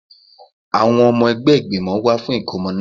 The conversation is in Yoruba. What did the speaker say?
Àwọn ọmọ ẹgbẹ́ ìgbìmọ̀ wá fún ìkómọ náà